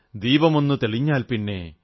ദീപമൊന്നുതെളിഞ്ഞാൽപ്പിന്നെ